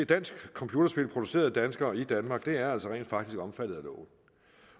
dansk computerspil produceret af danskere i danmark er rent faktisk omfattet af loven